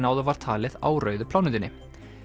áður var talið á rauðu plánetunni